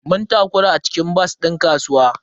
Mun takura a cikin bas din kasuwa.